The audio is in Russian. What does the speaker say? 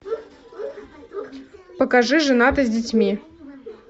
покажи женаты с детьми